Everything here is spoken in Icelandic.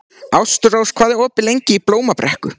Ástrós, hvað er opið lengi í Blómabrekku?